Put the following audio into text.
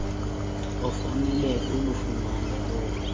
ofanele kulufumana olu